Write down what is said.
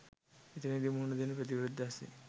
එතැනදි මුහුණ දෙන ප්‍රතිවිරෝධය අස්සෙන්